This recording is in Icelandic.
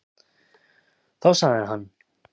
Þá sagði hann: